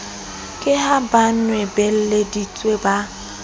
ke ha ba nwabeleditse ba